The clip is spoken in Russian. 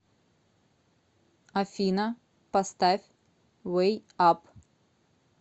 афина поставь вэй ап